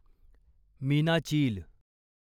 मीनाचील